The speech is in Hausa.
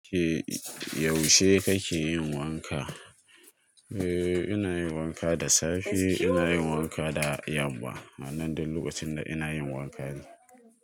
Yaushe kake yin wanka? Eh ina yin wanka da safe, ina yin wanka da yamma. Anan duk lokacin da ina yin wanka ne.